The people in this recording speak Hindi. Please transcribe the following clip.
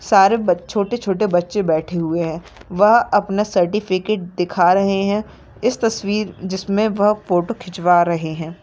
सारे बच- छोटे-छोटे बच्चे बैठे हुए है वह अपने सर्टिफिकीट दिखा रहे है इस तस्वीर जिसमे वह फोटो खिचवा रहे है।